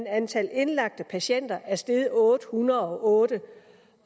antallet af indlagte patienter er steget med otte hundrede og otte